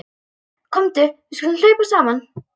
Komdu við skulum hlaupa saman.